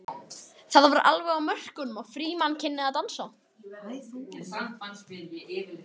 Það var alveg á mörkunum að Frímann kynni að dansa.